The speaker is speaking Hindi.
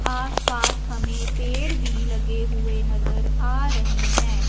आसपास हमें पेड़ भी लगे हुए नजर आ रहे हैं।